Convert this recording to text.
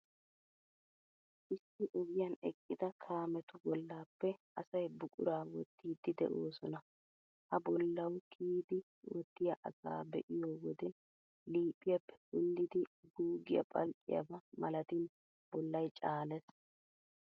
Issi ogiyan eqqida kaametu bollappe asay buquraa wottiiddi de'oosona. Ha bollawu kiyidi wottiyaa asaa be'iyo wode liiphiyaappe kunddidi guuggiyaa phalqqiyaba malatin bollay caalees.